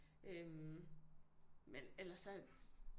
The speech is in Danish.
Øh men ellers så